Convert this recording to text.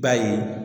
B'a ye